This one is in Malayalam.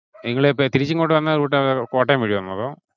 നിങ്ങളിപ്പോ തിരിച്ചു ഇങ്ങോട്ടു വന്ന route ഏത് കോട്ടയം വഴി വന്നോ അതോ?